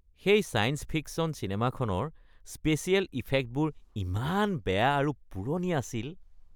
সেই ছায়েঞ্চ-ফিকশ্যন চিনেমাখনৰ স্পেছিয়েল ইফেক্টবোৰ ইমান বেয়া আৰু পুৰণি আছিল।